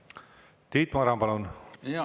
Tiit Maran, palun!